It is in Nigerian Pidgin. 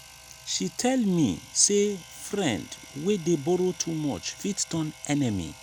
she tell me sey friend wey dey borrow too much fit turn enemy.